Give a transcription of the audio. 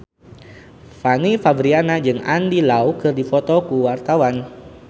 Fanny Fabriana jeung Andy Lau keur dipoto ku wartawan